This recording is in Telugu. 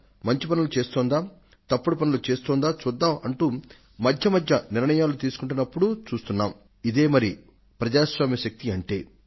మంచి పనులు చేస్తోందా తప్పుడు పనుల చేస్తోందా చూద్దాం అంటూ మధ్య మధ్య నిర్ణయాలు తీసుకొంటున్నప్పుడూ చూస్తున్నాం ఇదే మరి ప్రజాస్వామ్య శక్తి అంటే